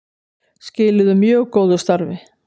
Skiluðu mjög góðu starfi